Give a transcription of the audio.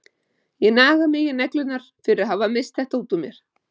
Ég naga mig í neglurnar fyrir að hafa misst þetta út úr mér.